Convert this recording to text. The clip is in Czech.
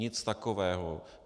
Nic takového.